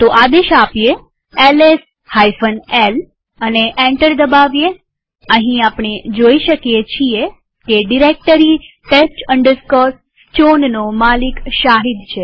આદેશ L S l આપીએ અને એન્ટર દબાવીએઅહીં આપણે જોઈ શકીએ છીએ કે ડિરેક્ટરી test chownનો માલિક શાહિદ છે